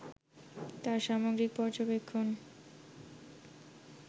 তাঁর সামগ্রিক পর্যবেক্ষণ